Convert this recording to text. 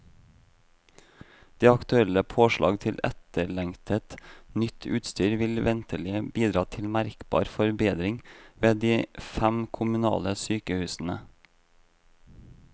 De aktuelle påslag til etterlengtet, nytt utstyr vil ventelig bidra til merkbar forbedring ved de fem kommunale sykehusene.